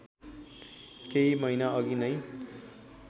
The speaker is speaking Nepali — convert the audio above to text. केही महिनाअघि नै